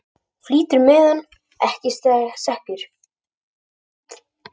Flýtur meðan ekki sekkur.